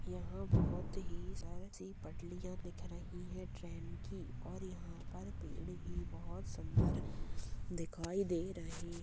यहाँ बहुत ही सुंदर -सी पटलिया दिख रही है ट्रेन की और यहाँ पर पेड़ भी बहोत सुंदर दिखाई दे रहे हैं।